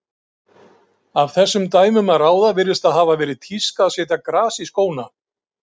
Af þessum dæmum að ráða virðist það hafa verið tíska að setja gras í skóna.